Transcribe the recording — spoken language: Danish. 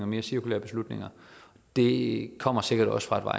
mere cirkulære beslutninger det kommer sikkert også fra